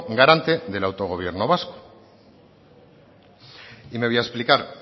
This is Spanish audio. garante del autogobierno vasco y me voy a explicar